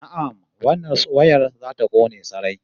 Na'am, wannan wayar za ta kone sarai